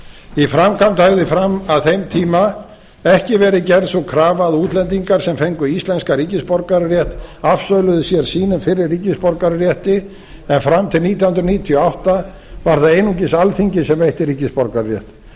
í framkvæmd hafði fram að þeim tíma ekki verið gerð sú krafa að útlendingar sem fengu íslenskan ríkisborgararétt afsöluðu sér sínum fyrri ríkisborgararétt en fram til nítján hundruð níutíu og átta var það einungis alþingi sem veitti ríkisborgararétt